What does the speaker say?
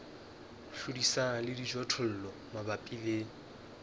hlodisana le dijothollo mabapi le